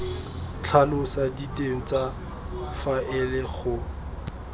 tlhalosa diteng tsa faele go